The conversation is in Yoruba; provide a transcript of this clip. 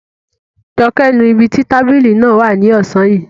Joke nu ibi tí tábìlì náà wà ní ọ̀sán yìí